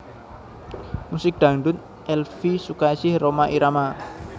Musik Dangdut Elvie Sukaesih Rhoma Irama